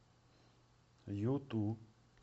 юту